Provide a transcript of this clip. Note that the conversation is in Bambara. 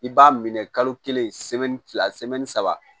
I b'a minɛ kalo kelen fila saba